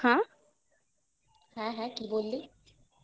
হ্যাঁ হ্যাঁ হ্যাঁ কি বললি